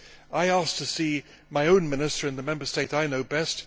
I asked to see my own minister in the Member State I know best.